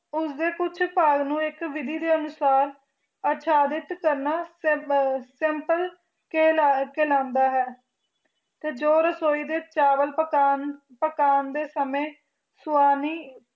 ਉਸਦੇ ਪੁੱਤ ਪਾਲ ਨੂੰ ਇਕ ਵਿਧੀ ਦੇ ਸੈਪਲ ਕਸਟਮਰ ਕੇਅਰ ਨੰਬਰ ਤੇ ਜੋ ਰਸੋਇ ਦੇ ਚਾਵਲ ਪਾਕੰ ਦੇ ਸਮੇਂ ਸਵਾਮੀ